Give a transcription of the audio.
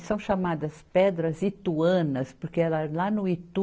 E são chamadas pedras ituanas, porque era lá no Itu,